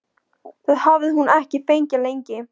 Það hafði hún ekki fengið lengi.